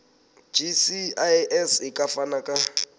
gcis e ka fana ka